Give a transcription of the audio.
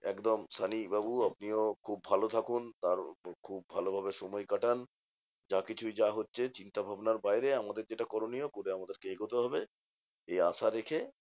একদম সানিবাবু আপনিও খুব ভালো থাকুন, আর খুব ভালোভাবে সময় কাটান। যা কিছুই যা হচ্ছে চিন্তাভাবনার বাইরে আমাদের যেটা করণীয় করে আমাদেরকে এগোতে হবে। এই আশা রেখে